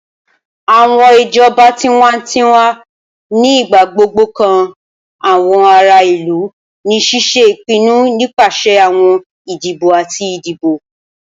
Awọn ijọba tiwantiwa ni igbagbogbo kan awọn ara ilu ni ṣiṣe ipinnu nipasẹ awọn idibo ati idibo.